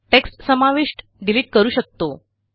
text समाविष्ट delete करू शकतो